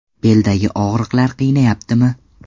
Beldagi og‘riqlar qiynayaptimi?